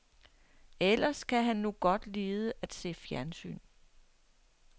Ellers kan han nu godt lide af se fjernsyn.